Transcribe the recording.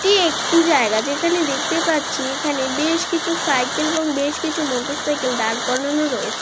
এটি একটি জায়গা যেখানে দেখতে পাচ্ছি এখানে বেশকিছু সাইকেল এবং বেশ কিছু মোটরসাইকেল দাঁড় করানো রয়েছে।